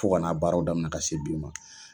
Fo kana baaraw daminɛ ka se bi ma